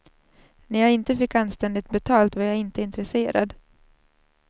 När jag inte fick anständigt betalt, var jag inte intresserad.